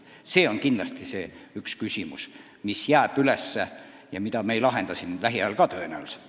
See on kindlasti üks küsimus, mis jääb üles ja mida me ei lahenda tõenäoliselt lähiajal.